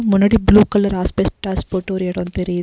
முன்னாடி blue colour asbestos போட்டு ஒரு எடோ தெரியு --